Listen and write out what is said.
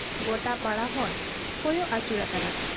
ᱜᱚᱴᱟ ᱯᱟᱲᱟ ᱦᱚᱸᱭ ᱠᱚᱭᱚᱜ ᱟᱹᱪᱩᱨ ᱟᱠᱟᱫᱟ ᱾